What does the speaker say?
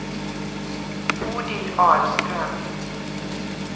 Bodil Ahlström